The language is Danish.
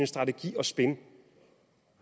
strategi og spin